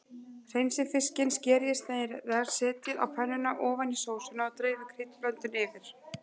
Hreinsið fiskinn, skerið í sneiðar, setjið á pönnuna ofan í sósuna og dreifið kryddblöndunni yfir.